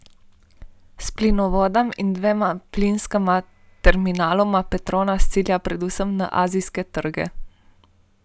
S plinovodom in dvema plinska terminaloma Petronas cilja predvsem na azijske trge.